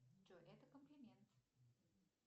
джой это комплимент